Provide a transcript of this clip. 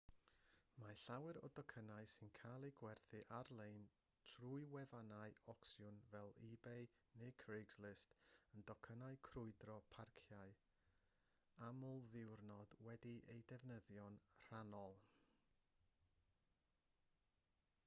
mae llawer o docynnau sy'n cael eu gwerthu ar-lein trwy wefannau ocsiwn fel ebay neu craigslist yn docynnau crwydro parciau amlddiwrnod wedi'u defnyddio'n rhannol